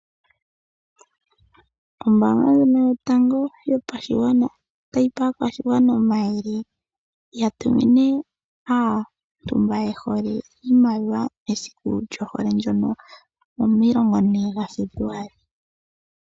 Ombaanga ndjono yotango yopashigwana otayi pe aakwashigwana omayele, ya tumine aantu mba yehole iimaliwa mesiku lyohole ndono 14 gaFebluali.